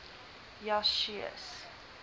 jasues